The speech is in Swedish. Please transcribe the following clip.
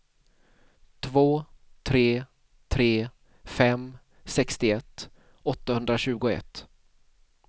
två tre tre fem sextioett åttahundratjugoett